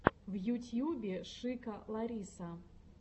в ютьюбе шика лариса